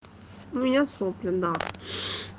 у меня сопли да